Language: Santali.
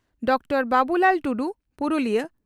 ᱰᱚᱠᱴᱚᱨ ᱵᱟᱵᱩᱞᱟᱞ ᱴᱩᱰᱩ (ᱯᱩᱨᱩᱞᱤᱭᱟᱹ